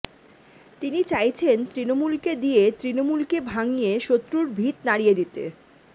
তিনি চাইছেন তৃণমূলকে দিয়ে তৃণমূলকে ভাঙিয়ে শত্রুর ভিত নাড়িয়ে দিতে